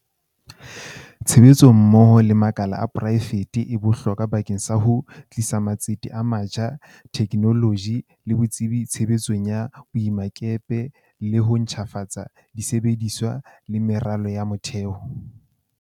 Tshebetso mmoho le makala a poraefete e bohlokwa bakeng sa ho tlisa matsete a matjha, the knoloji le botsebi tshebetsong ya boemakepe le ho ntjhafatsa di sebediswa le meralo ya motheo.